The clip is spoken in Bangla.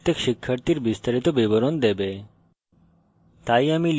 এই method প্রত্যেক শিক্ষার্থীর বিস্তারিত বিবরণ দেবে